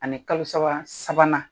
Ani kalo saba sabanan